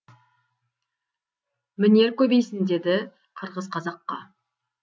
мінер көбейсін деді қырғыз қазаққа